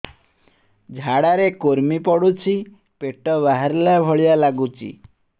ଝାଡା ରେ କୁର୍ମି ପଡୁଛି ପେଟ ବାହାରିଲା ଭଳିଆ ଲାଗୁଚି